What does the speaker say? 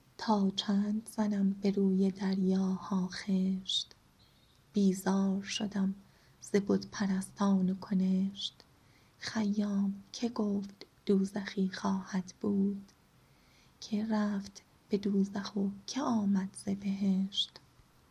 تا چند زنم به روی دریاها خشت بیزار شدم ز بت پرستان و کنشت خیام که گفت دوزخی خواهد بود که رفت به دوزخ و که آمد ز بهشت